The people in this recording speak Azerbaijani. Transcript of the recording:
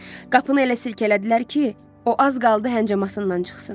Qapını elə silkələdilər ki, o az qaldı hənçəmasından çıxsın.